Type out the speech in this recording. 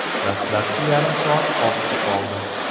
Dastlabki yarim soat ortda qoldi.